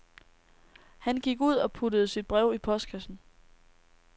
Han gik ud og puttede sit brev i postkassen.